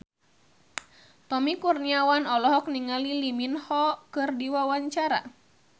Tommy Kurniawan olohok ningali Lee Min Ho keur diwawancara